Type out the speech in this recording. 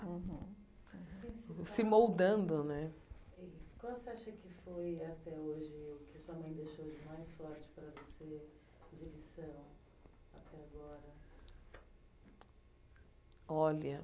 Uhum Se moldando né Qual você acha que foi, até hoje, o que sua mãe deixou de mais forte para você de lição, até agora? Olha